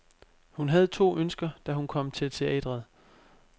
Hun havde to ønsker, da hun kom til teatret.